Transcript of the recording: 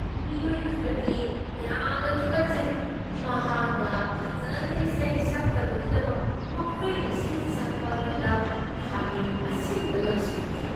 ꯃꯤꯑꯣꯏ ꯈꯔꯗꯤ ꯌꯥꯝꯅ ꯇꯨꯀꯠꯆꯩ꯫ ꯃꯍꯥꯛꯅ ꯐꯖꯅ ꯏꯁꯩ ꯁꯛꯇꯕꯒꯤꯗꯃꯛ ꯃꯈꯣꯏꯅ ꯏꯁꯩ ꯁꯛꯄ ꯑꯗꯨꯗ ꯈꯥꯃꯦꯟ ꯑꯁꯤꯟꯕ ꯂꯪꯁꯤꯟꯈꯤ꯫